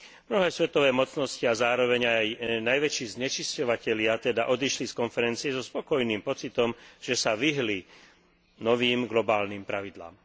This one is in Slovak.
Mnohé svetové mocnosti a zároveň aj najväčší znečisťovatelia teda odišli z konferencie so spokojným pocitom, že sa vyhli novým globálnym pravidlám.